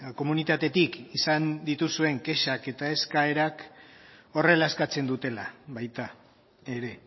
komunitatetik izan dituzuen kexak eta eskaerak horrela eskatzen dutela baita ere